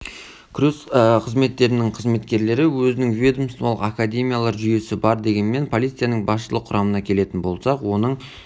күрес қызметтерінің қызметкерлері өзінің ведомстволық академиялар жүйесі бар дегенмен полицияның басшылық құрамына келетін болсақ оның